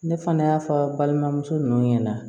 Ne fana y'a fɔ balimamuso ninnu ɲɛna